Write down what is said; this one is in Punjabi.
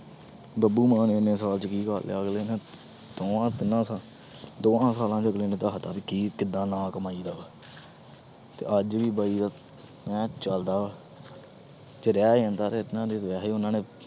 ਬੱਬੂ ਮਾਨ ਇੰਨੇ ਸਾਲਾਂ 'ਚ ਕੀ ਕਰ ਲਿਆ ਅਗਲੇ ਨੇ ਦੋਹਾਂ ਤਿੰਨਾਂ ਸ~ ਦੋਹਾਂ ਸਾਲਾਂ 'ਚ ਅਗਲੇ ਨੇ ਦੱਸ ਦਿੱਤਾ ਵੀ ਕੀ ਕਿੱਦਾਂ ਨਾਂ ਕਮਾਈਦਾ ਵਾ ਤੇ ਅੱਜ ਵੀ ਬਾਈ ਦਾ ਐਂ ਚੱਲਦਾ ਵਾ ਜੇ ਰਹਿ ਜਾਂਦਾ ਤੇ ਵੈਸੇ ਉਹਨਾਂ ਨੇ